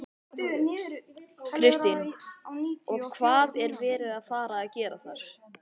Kristín: Og hvað er verið að fara að gera þar?